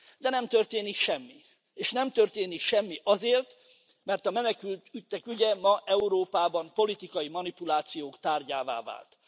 De nem történik semmi, és nem történik semmi azért, mert a menekültek ügye ma Európában politikai manipuláció tárgyává vált.